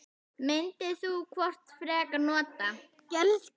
Hvort myndir þú frekar nota?